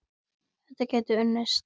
Þetta gæti unnist.